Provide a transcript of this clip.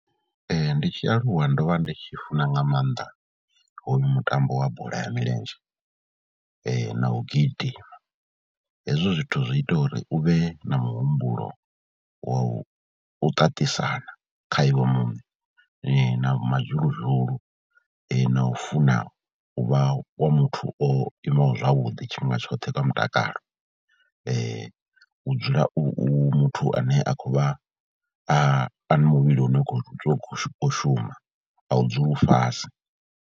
Ndi tshi aluwa ndo vha ndi tshi funa nga maanḓa hoyu mutambo wa bola ya milenzhe na u gidima, hezwo zwithu zwi ita uri u vhe na muhumbulo wa u ṱaṱisana kha iwe muṋe na mazhuluzhulu na u funa u vha wa muthu o imaho zwavhuḓi tshifhinga tshoṱhe kha mutakalo. U dzula u u muthu ane a khou vha a na muvhili une u khou shuma a u dzule u fhasi.